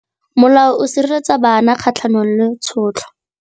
Molao o sireletsa bana kgatlhanong le tshotlo.